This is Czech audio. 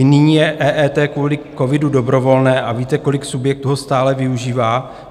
I nyní je EET kvůli covidu dobrovolné a víte, kolik subjektů ho stále využívá?